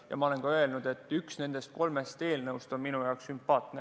Ja ma olen ka öelnud, et üks nendest kolmest eelnõust on minu jaoks sümpaatne.